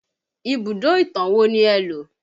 Ibùdó ìtàn wo ni ẹ lo?